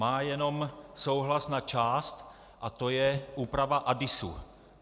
Má jenom souhlas na část, a to je úprava ADISu.